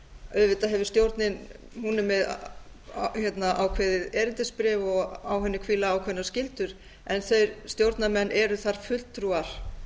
auðvitað hefur stjórnin hún er með ákveðið erindisbréf og á henni hvíla ákveðnar skyldur en þeir stjórnarmenn eru þar fulltrúar